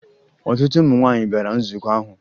Ọtụtụ ụmụ nwaanyị bịara nzukọ ahụ